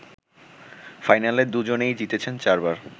ফাইনালে দুজনেই জিতেছেন ৪ বার